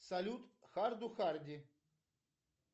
салют харду харди